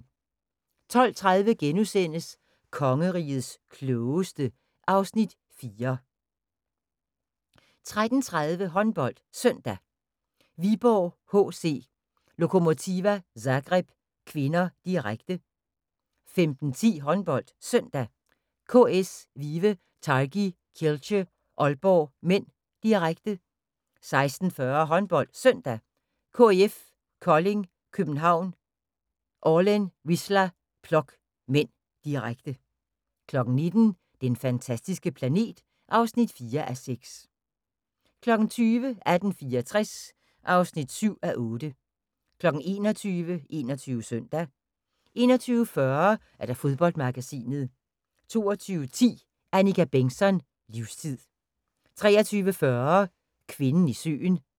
12:30: Kongerigets Klogeste (Afs. 4)* 13:30: HåndboldSøndag: Viborg-HC Lokomotiva Zagreb (k), direkte 15:10: HåndboldSøndag: KS Vive Targi Kielce-Aalborg (m), direkte 16:40: HåndboldSøndag: KIF Kolding København-Orlen Wisla Plock (m), direkte 19:00: Den fantastiske planet (4:6) 20:00: 1864 (7:8) 21:00: 21 Søndag 21:40: Fodboldmagasinet 22:10: Annika Bengtzon: Livstid 23:40: Kvinden i søen